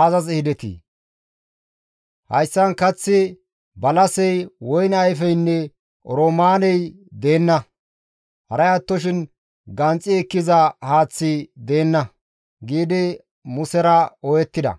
aazas ehidetii? Hayssan kaththi, balasey, woyne ayfeynne oroomaaney deenna; haray attoshin ganxi ekkiza haaththika deenna!» giidi Musera ooyettida.